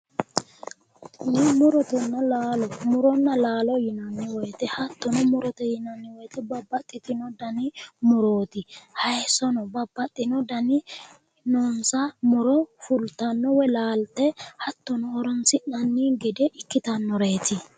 Tini murotenna laalote tenne murotenna laalote muronna laalo yinanni woyiite hattono murote yinanni woyiite babbaxitino dani murooti. haayiissono babbaxino dani noonsa muro uuyitanno woyi laalte hattono horonsi'nanni gede ikkitaworeeti.